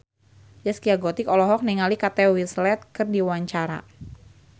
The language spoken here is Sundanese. Zaskia Gotik olohok ningali Kate Winslet keur diwawancara